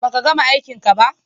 Baka gama aikinka ba?